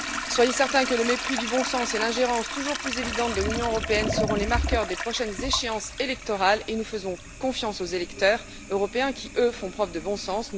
Soyez certains que le mépris du bon sens et l'ingérence toujours plus évidente de l'Union européenne seront les marqueurs des prochaines échéances électorales, et nous faisons confiance aux électeurs européens qui, eux, font preuve de bon sens.